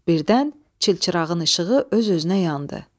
Birdən çilçırağın işığı öz-özünə yandı.